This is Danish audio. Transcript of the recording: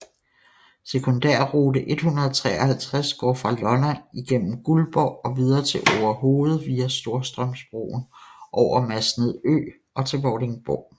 Sekundærrute 153 går fra Lolland igennem Guldborg og videre til Orehoved via Storstrømsbroen over Masnedø og til Vordingborg